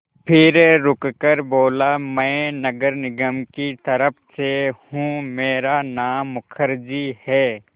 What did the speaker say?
फिर रुककर बोला मैं नगर निगम की तरफ़ से हूँ मेरा नाम मुखर्जी है